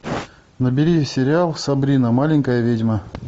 набери сериал сабрина маленькая ведьма